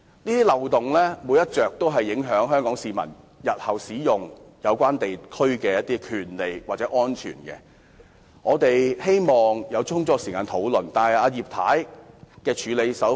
這些漏洞全都影響香港市民日後使用有關地方的權利或安全，我們因而希望能有充足時間多作討論，但葉太怎樣處理？